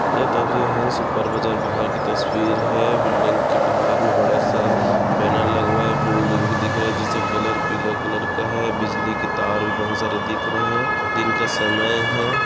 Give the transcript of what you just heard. ये तस्वीर हंस सुपर बाजार बाहर की तस्वीर है बिल्डिंग के बाहर मे बडा सा बैनर लगवाया हुआ है बिल्डिंग भी दिख रही है जिसका कलर पीला कलर का है बिजली की तार बहुत सारे दिख रहे है दिन का समय है।